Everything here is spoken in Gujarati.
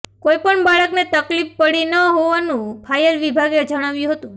કોઈપણ બાળકને તકલીફ પડી ન હોવાનું ફાયર વિભાગે જણાવ્યું હતું